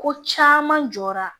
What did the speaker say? Ko caman jɔra